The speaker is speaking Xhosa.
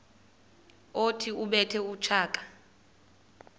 othi ubethe utshaka